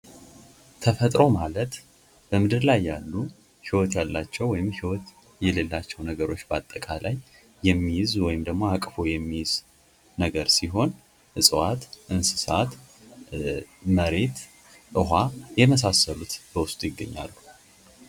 ተፈጥሮ ማለት በምድር ላይ ያሉ ህይወት ያላቸው ወይም ህይወት የሌላቸው ነገሮች በአጠቃላይ የሚይዝ ወይም ደግሞ አቅፎ የሚይዝ ነገር ሲሆን ዕፅዋት እንስሳት መሬት ዉሃ የመሳሰሉት በውስጡ ይገኛሉ።